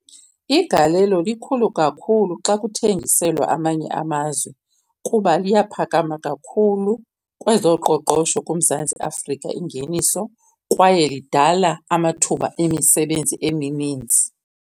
Igalelo likhulu kakhulu xa kuthengiselwa amanye amazwe kuba liyaphakama kakhulu kwezoqoqosho kuMzantsi Afrika ingeniso, kwaye idala amathuba emisebenzi emininzi.